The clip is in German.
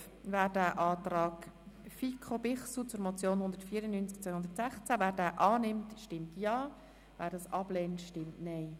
Wer den Antrag FiKo/Bichsel zur Motion 194-2016 annimmt, stimmt Ja, wer diesen ablehnt, stimmt Nein.